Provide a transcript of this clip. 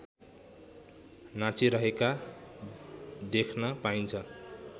नाचिरहेका देख्न पाइन्छ